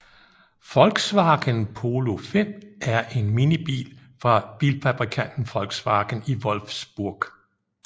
Volkswagen Polo V er en minibil fra bilfabrikanten Volkswagen i Wolfsburg